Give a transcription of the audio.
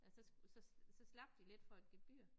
At så så så slap de lidt for et gebyr